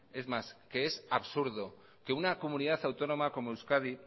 es más que es absurdo que una comunidad autónoma como euskadi